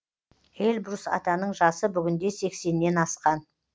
эльбрус атаның жасы бүгінде сексеннен асқан